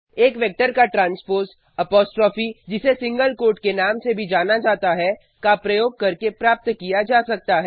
एक वेक्टर का transpose apostrophe जिसे सिंगल कोट के नाम से भी जाना जाता है का प्रयोग करके प्राप्त किया जा सकता है